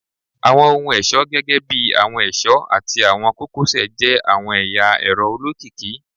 Awọn ohun-ọṣọ gẹgẹbi awọn ẹṣọ ati awọn kokosẹ jẹ awọn ẹya ẹrọ olokiki